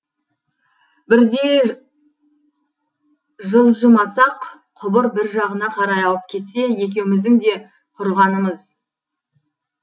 бірдей жылжымасақ құбыр бір жағына қарай ауып кетсе екеуіміздің де құрығанымыз